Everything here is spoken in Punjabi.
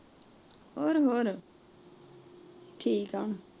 ਹੋਰ ਹੋਰ, ਠੀਕ ਏ।